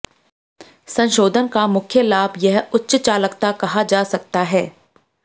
संशोधन का मुख्य लाभ यह उच्च चालकता कहा जा सकता है